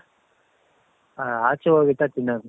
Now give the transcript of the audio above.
ಆ ಆಚೆ ಹೋಗಿದ್ದಾಗ ತಿನ್ನೋದು